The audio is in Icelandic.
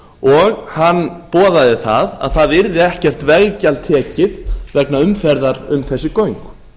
og hann boðaði það að það yrði ekkert veggjald tekið vegna umferðar um þessi göng